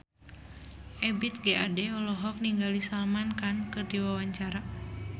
Ebith G. Ade olohok ningali Salman Khan keur diwawancara